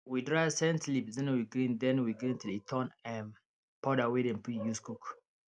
we dry scent leaf then we grind then we grind till e turn um powder wey dem fir use cook